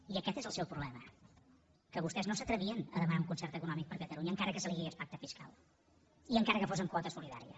i aquest és el seu problema que vostès no s’atrevien a demanar un concert econòmic per a catalunya encara que se’n digués pacte fiscal i encara que fos amb quota solidària